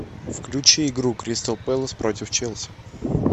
включи игру кристал пэлас против челси